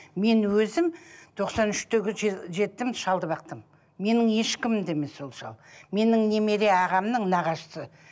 мен өзім тоқсан үштегі жетім шалды бақтым менің ешкімім де емес ол шал менің немере ағамның нағашысы